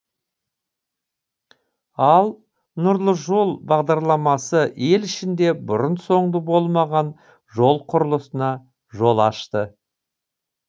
ал нұрлы жол бағдарламасы ел ішінде бұрын соңды болмаған жол құрылысына жол ашты